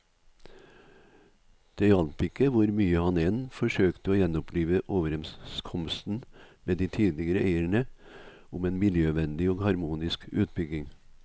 Det hjalp ikke hvor mye han enn forsøkte å gjenopplive overenskomsten med de tidligere eierne om en miljøvennlig og harmonisk utbygging.